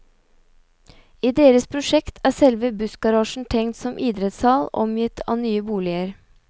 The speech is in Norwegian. I deres prosjekt er selve bussgarasjen tenkt som idrettshall omgitt av nye boliger.